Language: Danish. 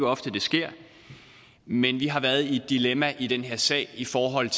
ofte det sker men vi har været i et dilemma i den her sag i forhold